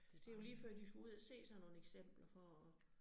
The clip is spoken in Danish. Det jo lige før de skulle ud og se sådan nogle eksempler for at